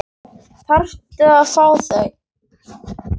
Þarftu að fá þau?